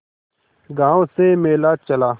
गांव से मेला चला